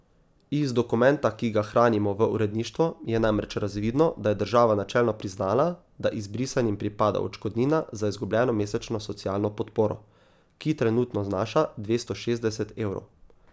Iz dokumenta, ki ga hranimo v uredništvu, je namreč razvidno, da je država načelno priznala, da izbrisanim pripada odškodnina za izgubljeno mesečno socialno podporo, ki trenutno znaša dvesto šestdeset evrov.